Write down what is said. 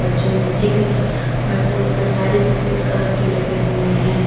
और जो नीचे की तरफ फर्श है उस पर टाइल्स सफेद कलर के लगे हुए हैं।